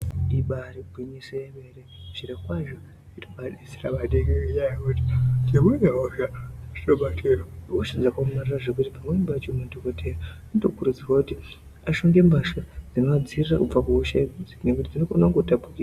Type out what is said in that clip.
Ibaari gwinyiso yemene zvirokwazvo zvinobaadetsera maningi ngenyaya yekuti dzimweni hosha ihosha dzakaomarara zvekuti. Pamweni pacho madhokoteya anokurudzirwa kuti ashonge mbatya dzinoadzivirira kubva kuhosha idzodzi nekuti dzinokone kungotapukira.